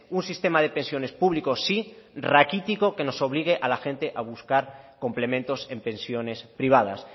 un sistema de pensiones públicos sí raquítico que nos obligue a la gente a buscar complementos en pensiones privadas